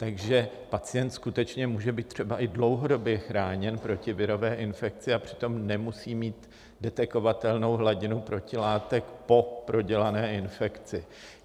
Takže pacient skutečně může být třeba i dlouhodobě chráněn proti virové infekci, a přitom nemusí mít detekovatelnou hladinu protilátek po prodělané infekci.